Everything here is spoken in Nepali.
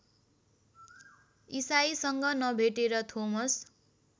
ईशाईसँग नभेटेर थोमस